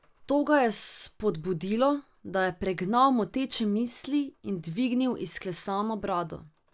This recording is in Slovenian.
To ga je spodbodlo, da je pregnal moteče misli in dvignil izklesano brado.